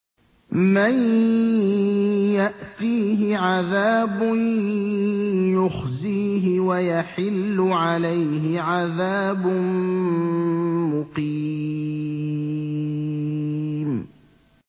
مَن يَأْتِيهِ عَذَابٌ يُخْزِيهِ وَيَحِلُّ عَلَيْهِ عَذَابٌ مُّقِيمٌ